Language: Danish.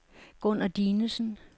Gunner Dinesen